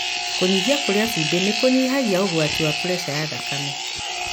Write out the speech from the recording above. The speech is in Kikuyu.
Kũnyihia kũrĩa cumbĩ nĩkũnyihagia ũgwati wa puresha ya thakame.